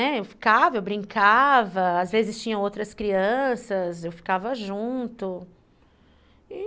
Eu ficava, eu brincava, às vezes tinham outras crianças, eu ficava junto.